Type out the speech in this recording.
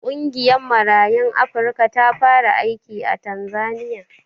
Ƙungiyar Marayun Afrika ta fara aiki a Tanzaniya.